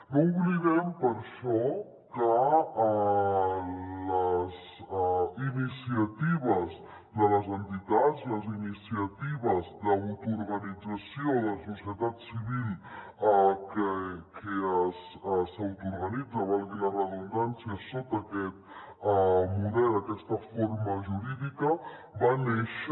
no oblidem per això que les iniciatives de les entitats les iniciatives d’autoorganització de la societat civil que s’autoorganitza valgui la redundància sota aquest model aquesta forma jurídica van néixer